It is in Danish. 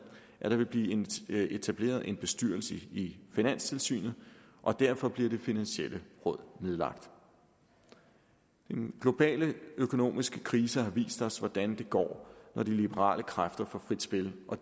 at der vil blive etableret en bestyrelse i finanstilsynet og derfor bliver det finansielle råd nedlagt den globale økonomiske krise har vist os hvordan det går når de liberale kræfter får frit spil og